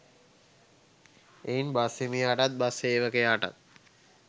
එයින් බස් හිමියාටත් බස් සේවකයාටත්